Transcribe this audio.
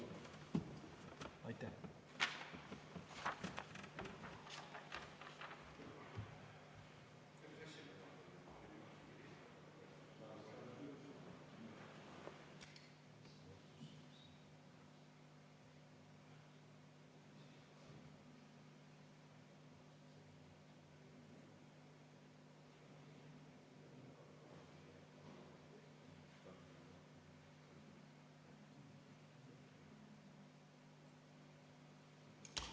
Aitäh!